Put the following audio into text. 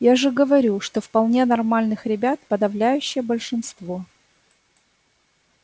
я же говорю что вполне нормальных ребят подавляющее большинство